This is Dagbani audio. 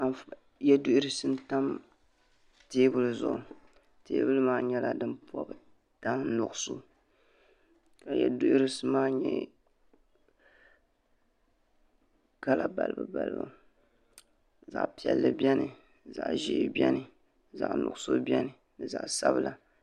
Yeduhurisi n tam teebuli zuɣu teebuli maa nyɛla din pobi tani nuɣuso ka yeduhurisi maa mee kala balibu balibu zaɣa piɛlli piɛni zaɣa ʒee biɛni zaɣa nuɣuso biɛno ni zaɣa sabila.